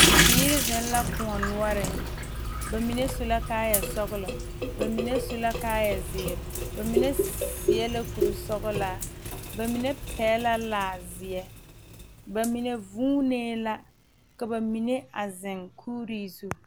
Bibiiri zeŋ la kóɔ noɔreŋ ba mine su la kaayɛ sɔgelɔ ba mine su la kaayɛ zeere ba mine seɛ la kuri sɔgelaa ba mine pɛgele la laa zeɛ na mine vuunee la ka ba mine a zeŋ kuuri zu